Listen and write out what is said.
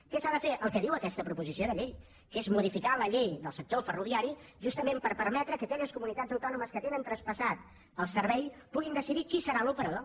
què s’ha de fer el que diu aquesta proposició de llei que és modificar la llei del sector ferroviari justament per permetre que aquelles comunitats autònomes que tenen traspassat el servei puguin decidir qui serà l’operador